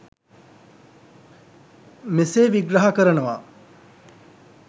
මෙසේ විග්‍රහ කරනවා.